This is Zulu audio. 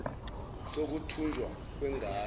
sokuthunjwa kwen gane